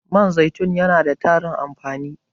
Man zaitun yana da tarin amfani.